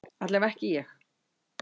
Allavega ekki ég.